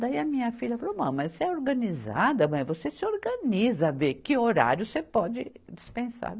Daí a minha filha falou, mãe, mas você é organizada, mãe, você se organiza, vê que horário você pode dispensar.